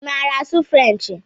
Ị maara asụ Frenchi?